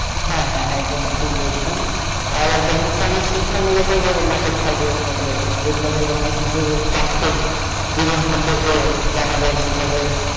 হ্যাঁ হ্যাঁ হ্যাঁ একদম ঠিক বলেছেন আবার দেখা যাচ্ছে যে অনেক শিক্ষামূলক নাটক থাকে এর মধ্যে যেগুলো থেকে অনেক কিছু বাস্তব জীবন সম্পর্কে জানা যায় শেখা যায়,